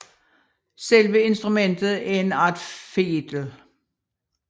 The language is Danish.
Selve instrumentet er en art fedel